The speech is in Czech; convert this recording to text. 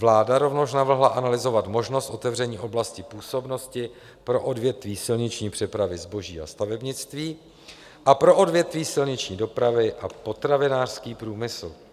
Vláda rovněž navrhla analyzovat možnost otevření oblasti působnosti pro odvětví silniční přepravy zboží a stavebnictví a pro odvětví silniční dopravy a potravinářský průmysl.